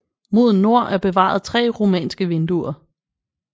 Mod nord er bevaret tre romanske vinduer